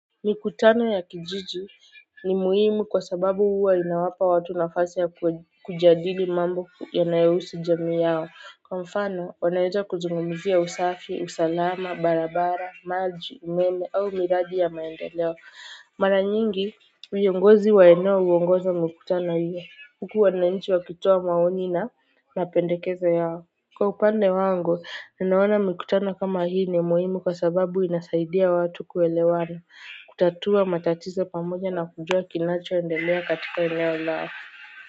Mikutano ya kijiji ni muhimu kwa sababu huwa inawapa watu nafasi ya kujadili mambo yanayohusu jamii yao. Kwa mfano, wanaweza kuzungumzia usafi, usalama, barabara, maji, umeme au miradi ya maendeleo. Mara nyingi, viongozi wa eneo huongoza mikutano hio. Huku wananchi wa kitoa maoni na napendekeza yao. Kwa upande wangu, ninaona mikutano kama hii ni muhimu kwa sababu inasaidia watu kuelewana. Kutatua matatizo pamoja na kujuwa kinacho endelea katika eneo lao.